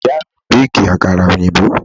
Ìyá mi béèkì àkàrà òyìnbó.